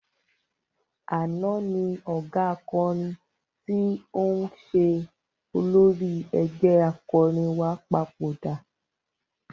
Àná ni ọ̀gá akọrin tí ń ṣe olórí ẹgbẹ́ akọrin wa papòdà.